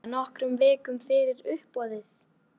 Þetta var nokkrum vikum fyrir uppboðið.